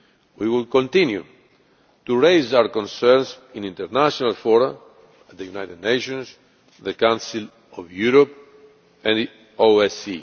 We will continue to raise our concerns in international fora the United Nations, the Council of Europe and the